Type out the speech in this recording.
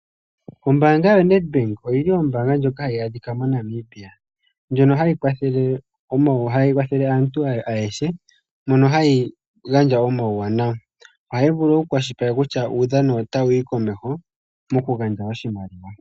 Ombaanga yo Ned Bank oyili ombaanga ndjoka hayi adhika mo Namibia, ndjo ha yi kwathele aantu ayehe mono ha yi gandja omawu wanawa. oha yi vulu oku kwashilipaleke kutya uudhano otawu yi komeho moku gandja oshimaliwa.